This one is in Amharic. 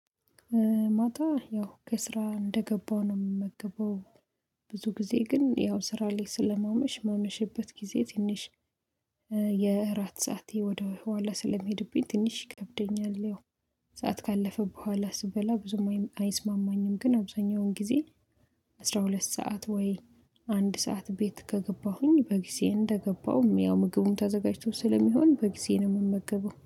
ማታ ያው ከስራ እንደገባው ነው የምመገበው። ብዙ ጊዜ ግን ያው ስራ ላይ ስለማመሽ ማመሸበት ጊዜ ትንሽ የእራት ሰዓቴ ወደ ኋላ ስለሚሄድብኝ ትንሽ ይከብደኛል። ያው ሰዓት ካለፈ በኋላ ስበላ ብዙም አይስማማኝም ግን አብዛኛውን ጊዜ። አስራ ሁለት ሰዓት ወይ አንድ ሰዓት ቤት ከገባሁኝ በጊዜ እንደገባሁም ያው ምግቡም ተዘጋጅቶ ስለሚሆን በጊዜ ነው የምመገበው